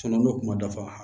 n'o kuma dafa